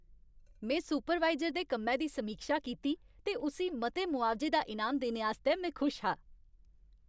में सुपरवाइजर दे कम्मै दी समीक्षा कीती ते उस्सी मते मुआवजे दा इनाम देने आस्तै में खुश हा।